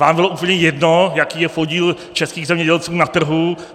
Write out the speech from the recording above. Vám bylo úplně jedno, jaký je podíl českých zemědělců na trhu.